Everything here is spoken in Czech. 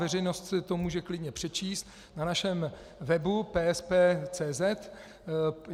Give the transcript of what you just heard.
Veřejnost si to může klidně přečíst na našem webu www.psp.cz.